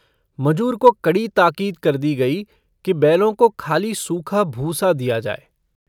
मजूर को कड़ी ताकीद कर दी गई कि बैलों को खाली सूखा भूसा दिया जाए।